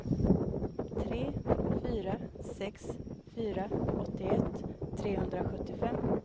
tre fyra sex fyra åttioett trehundrasjuttiofem